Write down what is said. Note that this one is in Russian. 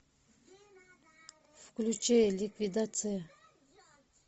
включи ликвидация